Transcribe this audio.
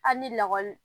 Hali ni lakɔli